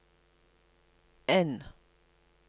N